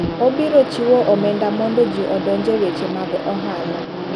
Obiro chiwo omenda mondo ji odonje weche mag ohala.